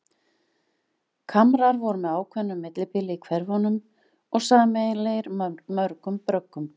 Kamrar voru með ákveðnu millibili í hverfunum og sameiginlegir mörgum bröggum.